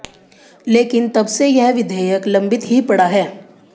लेकिन तब से यह विधेयक लंबित ही पड़ा है